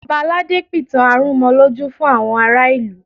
Ọba aládé pìtàn arúnmọlójú fún àwọn ará ìlú